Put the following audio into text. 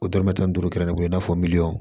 O dɔrɔmɛ tan duuru kɛmɛ o n'a fɔ miliyɔn